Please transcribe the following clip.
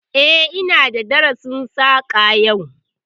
Eh, ina da darasin Saƙa yau